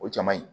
O caman ye